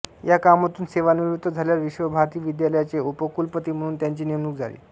या कामातून सेवानिवृत्त झाल्यावर विश्व भारती विद्याल्याचे उपकुलपति म्हणून त्यांची नेमणूक झाली